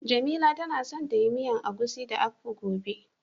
Jamila tana son ta yi miyan agushi da "akpu" gobe.